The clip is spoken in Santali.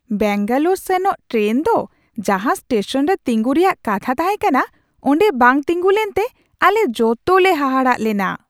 ᱵᱮᱹᱝᱜᱟᱞᱳᱨ ᱥᱮᱱᱚᱜ ᱴᱨᱮᱱ ᱫᱚ ᱡᱟᱦᱟᱸ ᱥᱴᱮᱥᱚᱱ ᱨᱮ ᱛᱤᱜᱩᱱ ᱨᱮᱭᱟᱜ ᱠᱟᱛᱷᱟ ᱛᱟᱦᱮᱸ ᱠᱟᱱᱟ ᱚᱸᱰᱮ ᱵᱟᱝ ᱛᱤᱸᱜᱩ ᱞᱮᱱᱛᱮ ᱟᱞᱮ ᱡᱚᱛᱚᱞᱮ ᱦᱟᱦᱟᱲᱟᱜ ᱞᱮᱱᱟ ᱾